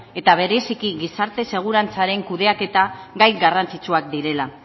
eta bereziki gizarte segurantzaren kudeaketa gai garrantzitsuak direla